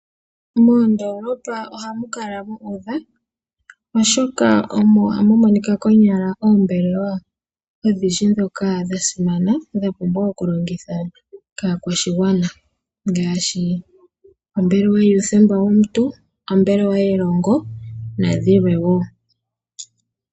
Moondoolopa ohamu kala mu udha, oshoka omo hamu monika konyala oombelewa odhindji ndhoka dha simana dha pumbwa okulongithwa kaakwashigwana ngaashi ombelewa yuuthemba womuntu, ombelewa yelongo nadhilwe woo.